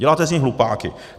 Děláte z nich hlupáky.